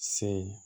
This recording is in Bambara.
Se